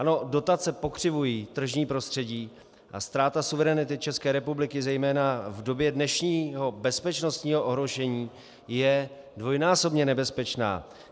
Ano, dotace pokřivují tržní prostředí, a ztráta suverenity České republiky zejména v době dnešního bezpečnostního ohrožení je dvojnásobně nebezpečná.